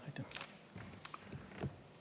Aitäh!